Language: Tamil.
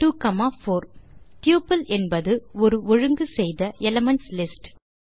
ட்யூபிள் என்பது ஒரு ஒழுங்கு செய்த எலிமென்ட்ஸ் லிஸ்ட்